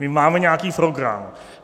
My máme nějaký program.